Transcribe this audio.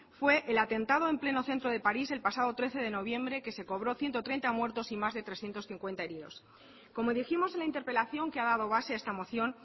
fue el atentado en pleno centro de parís el pasado trece de noviembre que se cobró ciento treinta muertos y más de trescientos cincuenta heridos como dijimos en la interpelación que ha dado base a esta moción